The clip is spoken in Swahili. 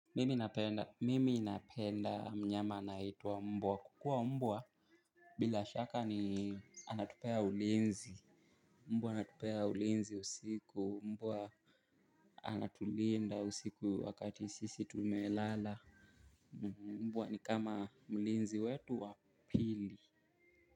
Mimi napenda mnyama anayeitwa mbwa. Kwa kuwa mbwa bila shaka ni anatupea ulinzi mbwa anatupea ulinzi usiku mbwa anatulinda usiku wakati sisi tumelala mbwa ni kama mlinzi wetu wa pili.